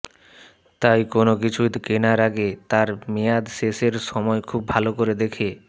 তাই কোনও কিছু কেনার আগে তার মেয়াদ শেষের সময় খুব ভাল করে দেখে